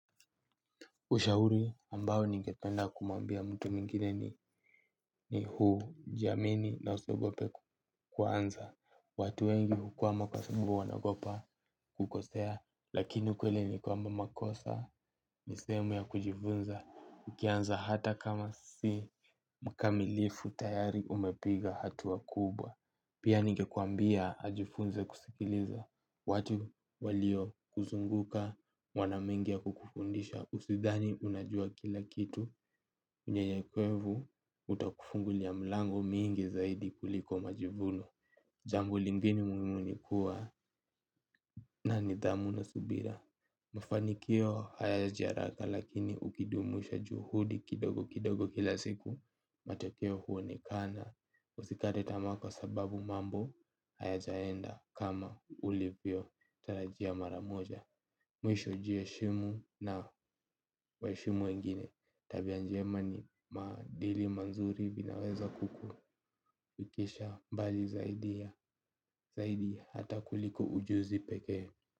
Ushauri ambao ningependa kumwambia mtu mwingine ni huu jaamini na usiogope kuanza. Watu wengi hukwama kwa sababu wanagopa kukosea, lakini ukweli ni kwamba makosa, ni sehemu ya kujifunza. Ukianza hata kama si mkamilifu tayari umepiga hatua kubwa. Pia ningekuambia ajifunze kusikiliza, watu walio kuzunguka, wana mengi ya kukufundisha Usidhani unajua kila kitu unyenyekevu utakufungulia milango mingi zaidi kuliko majivuno. Jambo lingine muhimu ni kuwa na nidhamu na subira. Mafanikio hayaji haraka lakini ukidumisha juhudi kidogo kidogo kila siku matokeo huonekana. Usikate tamaa kwasababu mambo hayajaenda kama ulivyo tarajia mara moja. Mwisho jiheshimu na waheshimu wengine. Tabia njema ni maadili mazuri vinaweza kukufikisha mbali zaidi ya zaidi hata kuliko ujuzi pekee.